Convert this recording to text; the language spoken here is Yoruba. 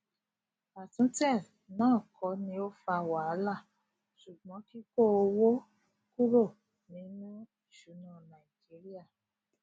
atún tẹ na kò ní ọ fà wàhálà sugbon kiko owó kúrò ní inú isuna naijiria